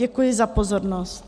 Děkuji za pozornost.